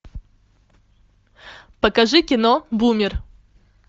покажи кино бумер